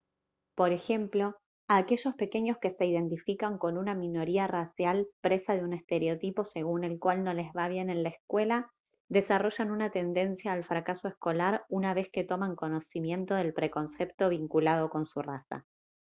por ejemplo aquellos pequeños que se identifican con una minoría racial presa de un estereotipo según el cual no les va bien en la escuela desarrollan una tendencia al fracaso escolar una vez que toman conocimiento del preconcepto vinculado con su raza